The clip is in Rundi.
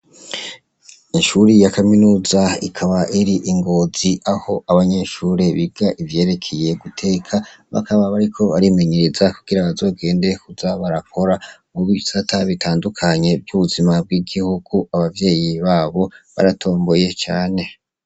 Ishuri ya kaminuza ikaba iri ingozi aho abanyeshuri biga ivyerekeye guteka bakaba bariko barimenyereza kugira bazogende kuza barakora mu bisata bitandukanye vy'ubuzima bw'igihugu abavyeyi babo baratomboye cane.